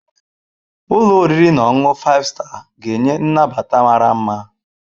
Ụlọ oriri na ọṅụṅụ Five Star ga-enye nnabata mara mma.